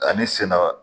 Ani sɛnɛga